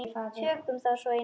Tökum þá svo í nefið!